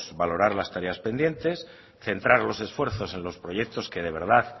valorar las tareas pendientes centrar los esfuerzos en los proyectos que de verdad